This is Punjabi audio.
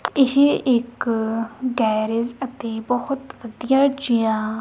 ਇਹ ਇੱਕ ਹੈਰੇਜ਼ ਅਤੇ ਬਹੁਤ ਵਧੀਆ ਜਿਹਾ--